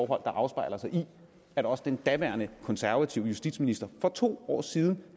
der afspejler sig i at også den daværende konservative justitsminister for to år siden